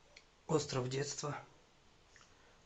остров детства